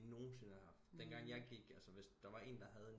De nogensinde har haft dengang jeg gik altså hvis der var en have en